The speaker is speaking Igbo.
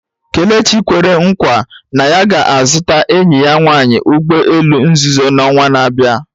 Kelechi kwere nkwa na ya ga-azụta enyi ya nwanyị ụgbọ elu nzuzo n'ọnwa na-abịa